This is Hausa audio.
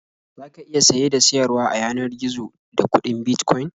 Za ka iya saye da siyarwa a yanar gizo da kuɗin Bitcoin.